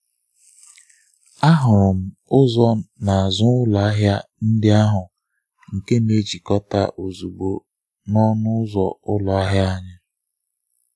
Ahụrụ m ụzọ n’azụ ụlọ ahịa ndị ahụ nke na-ejikọta ozugbo na ọnụ ụzọ ụlọ anyị.